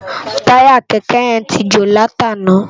Tàyá kèkè yèn ti jó láti àná